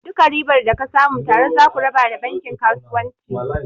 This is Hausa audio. Duka ribar da ka samu tare zaku raba da bankin kasuwanci.